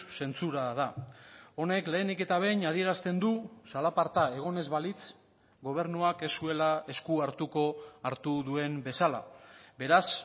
zentsura da honek lehenik eta behin adierazten du zalaparta egon ez balitz gobernuak ez zuela esku hartuko hartu duen bezala beraz